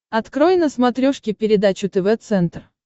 открой на смотрешке передачу тв центр